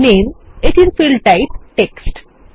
নামে এখানে field type text